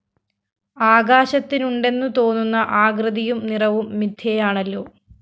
ആകാശത്തിനുണ്ടെന്നു തോന്നുന്ന ആകൃതിയും നിറവും മിഥ്യയാണല്ലോ